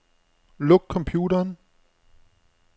Luk computeren.